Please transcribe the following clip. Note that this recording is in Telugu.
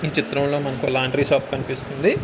ఈ చితం లో మనకు లాండ్రీ షాప్ కనిపిస్తుంది.